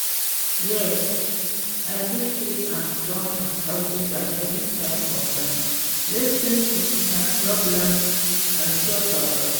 yes, i fit keep am strong and healthy by making time for friend, lis ten to im problems and show support.